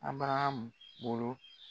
Abaraham bolo